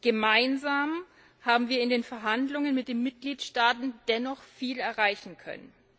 Gemeinsam haben wir in den Verhandlungen mit den Mitgliedstaaten dennoch viel erreichen können.